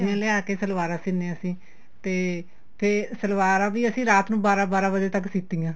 ਲਿਆ ਕੇ ਸਲਵਾਰਾ ਸੀਨੇ ਆ ਅਸੀਂ ਤੇ ਤੇ ਸਲਵਾਰਾ ਵੀ ਅਸੀਂ ਰਾਤ ਨੂੰ ਬਾਰਾਂ ਬਾਰਾਂ ਵਜੇ ਸੀਤੀਆਂ